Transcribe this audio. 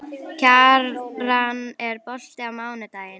Kjaran, er bolti á mánudaginn?